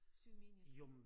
Syge mennesker